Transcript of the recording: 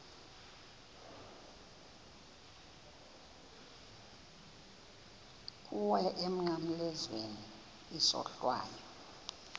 kuwe emnqamlezweni isohlwayo